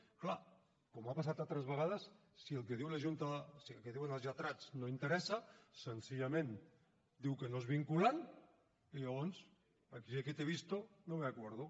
és clar com ha passat altres vegades si el que diu la junta si el que diuen els lletrats no interessa senzillament diu que no és vinculant i llavors si te he visto no me acuerdo